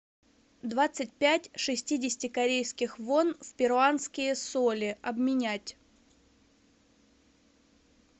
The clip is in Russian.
двадцать пять шестидесяти корейских вон в перуанские соли обменять